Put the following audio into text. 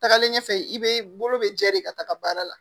Tagalen ɲɛfɛ i be bolo be jɛ de ka taga baara la